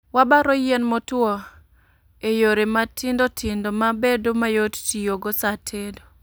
Wabaro yien motwo e yore matindo tindo mabedo mayot tiyo go sa tedo